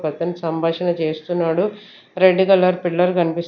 పక్కన సంభాషణ చేస్తున్నాడు రెడ్ కలర్ పిల్లర్ కనిపిస్తు--